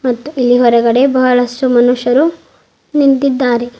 ಮತ್ತು ಇಲ್ಲಿ ಹೊರಗಡೆ ಬಹಳಷ್ಟು ಮನುಷ್ಯರು ನಿಂತಿದ್ದಾರೆ.